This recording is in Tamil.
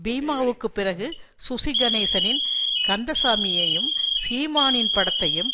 பீமாவுக்குப் பிறகு சுசி கணேசனின் கந்ததசாமி யையும் சீமானின் படத்தையும்